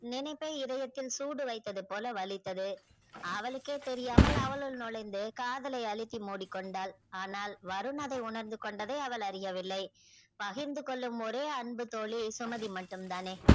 நினைப்பே இதயத்தில் சூடு வைத்தது போல வழித்தத அவளுக்கே தெரியாமல் அவளுக்குள் நுழைந்து காதலை அழுத்தி மூடிக்கொண்டால் அனால் வருண் அதை உணர்ந்து கொண்டதை அவள் அறிய வில்லை பகிர்ந்து கொள்ளும் ஒரே அன்பு தோழி சுமதி மட்டும் தானே